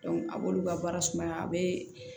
a b'olu ka baara sumaya a bɛ